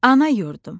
Ana yurdum.